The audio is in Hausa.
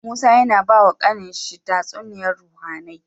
Musa yAna bawa kAnan shi tatsuniyar ruhAnai